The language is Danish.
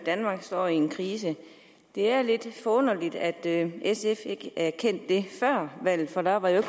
at danmark står i en krise det er lidt forunderligt at sf ikke erkendte det før valget for da var der jo